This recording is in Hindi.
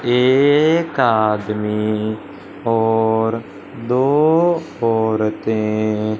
एक आदमी और दो औरते--